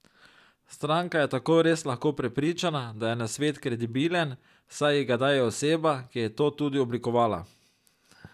Stranka je tako res lahko prepričana, da je nasvet kredibilen, saj ji ga daje oseba, ki je to tudi oblikovala.